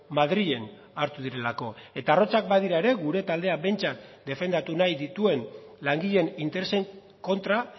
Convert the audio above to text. madrilen hartu direlako eta arrotzak badira ere gure taldeak behintzat defendatu nahi dituen langileen interesen kontra